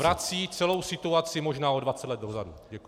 Vrací celou situaci možná o 20 let dozadu.